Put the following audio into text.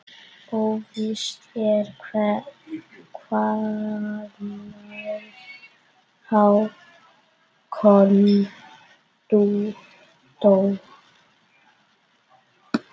Óvíst er hvenær Hákon dó.